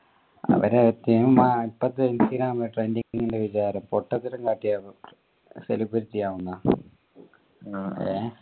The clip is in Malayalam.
അവരെ trending ൻ്റെ വിചാരം പൊട്ടത്തരം കാട്ടിയാലും celebrity ആവും ന്നാ